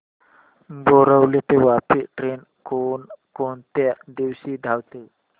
बोरिवली ते वापी ट्रेन कोण कोणत्या दिवशी धावते